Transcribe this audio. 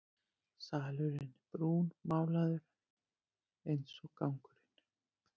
Salurinn er brúnmálaður einsog gangurinn.